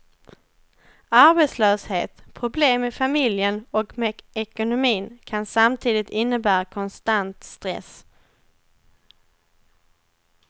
Arbetslöshet, problem i familjen och med ekonomin kan samtidigt innebära konstant stress.